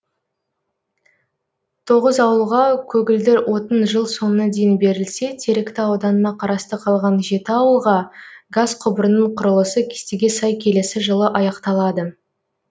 тоғыз ауылға көгілдір отын жыл соңына дейін берілсе теректі ауданына қарасты қалған жеті ауылға газ құбырының құрылысы кестеге сай келесі жылы аяқталады